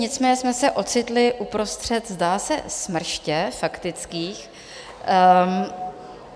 Nicméně jsme se ocitli uprostřed, zdá se, smrště faktických.